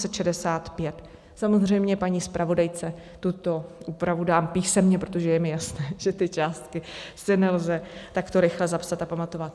Samozřejmě paní zpravodajce tuto úpravu dám písemně, protože je mi jasné, že ty částky si nelze takto rychle zapsat a pamatovat.